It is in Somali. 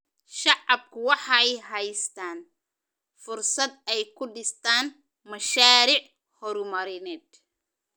Shacabku waxay haystaan ??fursad ay ku dhistaan ??mashaariic horumarineed.